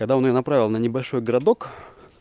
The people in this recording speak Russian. когда он её направил на небольшой городок